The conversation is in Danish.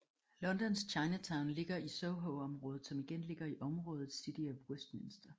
Londons Chinatown ligger i Sohoområdet som igen ligger i området City of Westminster